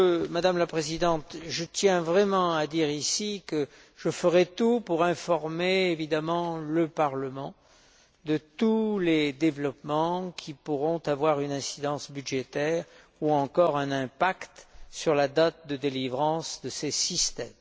Madame la Présidente, je tiens vraiment à dire ici que je ne manquerai pas d'informer le Parlement de tous les développements qui pourront avoir une incidence budgétaire ou encore un impact sur la date de délivrance de ces systèmes.